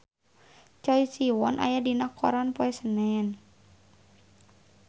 Choi Siwon aya dina koran poe Senen